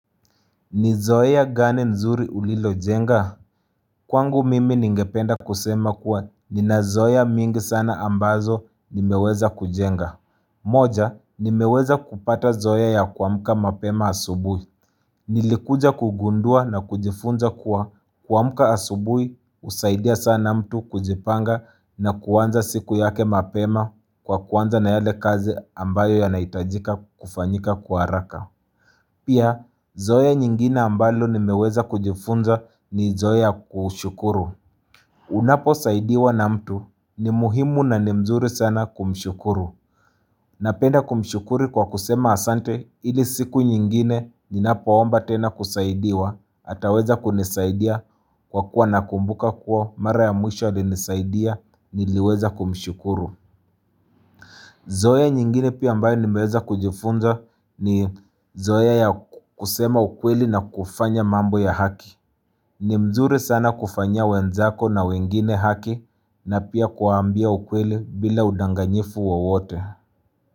Ni zoea gani zuri ulilojenga? Kwangu mimi ningependa kusema kuwa nina zoea mingi sana ambazo nimeweza kujenga. Moja, nimeweza kupata zoea ya kuamka mapema asubuhi. Nilikuja kugundua na kujifunza kuwa, kuamka asubuhi husaidia sana mtu kujipanga na kuanza siku yake mapema kwa kuanza na yale ya kazi ambayo yanahitajika kufanyika kwa haraka. Pia, zoea nyingine ambalo nimeweza kujifunza ni zoea ya kushukuru. Unaposaidiwa na mtu, ni muhimu na ni vizuri sana kumshukuru. Ninapenda kumshukuru kwa kusema asante, ili siku nyingine ninapo omba tena kusaidiwa, ataweza kunisaidia kwa kuwa anakumbuka kuwa mara ya mwisho alinisaidia, niliweza kumshukuru. Zoea nyingine pia ambayo nimeweza kujifunza ni zoea ya kusema ukweli na kufanya mambo ya haki. Ni vizuri sana kufanyia wenzako na wengine haki na pia kuwaambia ukweli bila udanganyifu wowote.